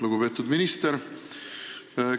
Lugupeetud minister!